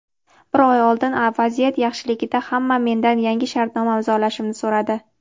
Bir oy oldin vaziyat yaxshiligida hamma mendan yangi shartnoma imzolashimni so‘radi.